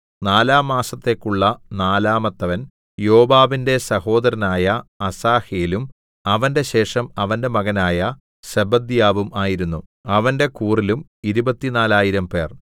നാലാം മാസത്തേക്കുള്ള നാലാമത്തവൻ യോവാബിന്റെ സഹോദരനായ അസാഹേലും അവന്റെ ശേഷം അവന്റെ മകനായ സെബദ്യാവും ആയിരുന്നു അവന്റെ കൂറിലും ഇരുപത്തിനാലായിരംപേർ 24000